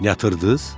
Yatırtdıq?